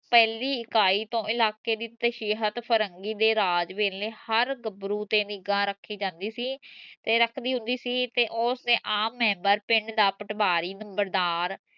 ਪਹਿਲੀ ਇਕਾਈ ਤੋਂ ਇਲਾਕੇ ਦੀ ਤਾਸਿਹਤ ਫ਼ਿਰੰਗੀ ਦੇ ਰਾਜ ਵੇਲੇ ਹਰ ਗਬਰੂ ਤੇ ਨਿਗਾਹ ਰਖੀ ਜਾਂਦੀ ਸੀ ਤੇ ਰੱਖਦੀ ਹੁੰਦੀ ਸੀ ਤੇ ਉਸ ਨੇ ਆਮ ਪਿੰਡ ਦਾ ਪਟਵਾਰੀ ਨੰਬਰਦਾਰ